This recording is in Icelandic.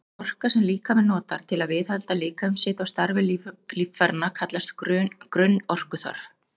Sú orka sem líkaminn notar til að viðhalda líkamshita og starfi líffæranna kallast grunnorkuþörf.